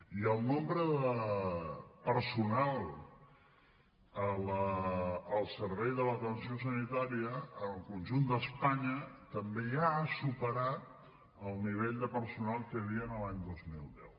i el nombre de personal al servei de l’atenció sanitària en el conjunt d’espanya també ja ha superat el nivell de personal que hi havia en l’any dos mil deu